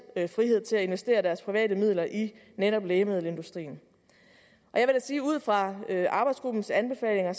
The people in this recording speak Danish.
frihed til at investere deres private midler i netop lægemiddelindustrien jeg vil sige at ud fra arbejdsgruppens anbefalinger